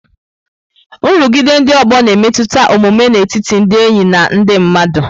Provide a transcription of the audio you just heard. Nrụgide ndị ọgbọ na-emetụta omume n'etiti ndị enyi na ndị mmadụ.